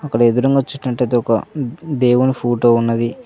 అక్కడ ఎదురుంగా అయితే ఒక దేవుని ఫోటో ఉన్నది.